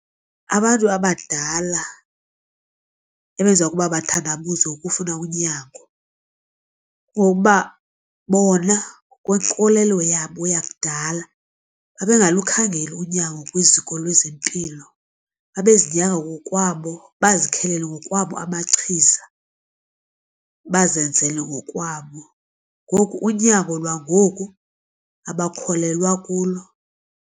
Abantu abadala ebenza ukuba bathandabuze ukufuna unyango kokuba bona ngokwenkolelo yabo yakudala babengalukhangeli unyango kwiziko lezempilo. Babezinyanga ngokwabo bazikhelele ngokwabo amachiza bazenzele ngokwabo, ngoku unyango lwangoku abakholelwa kulo.